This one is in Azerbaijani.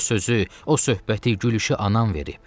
O sözü, o söhbəti, gülüşü anan verib.